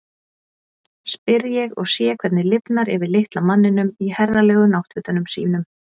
spyr ég og sé hvernig lifnar yfir litla manninum í herralegu náttfötunum sínum.